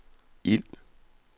ild